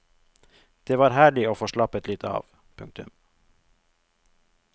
Det var herlig å få slappet litt av. punktum